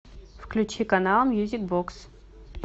включи канал мьюзик бокс